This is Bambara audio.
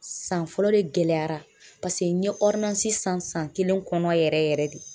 San fɔlɔ de gɛlɛyara paseke n ye san, san kelen kɔnɔ yɛrɛ yɛrɛ yɛrɛ de .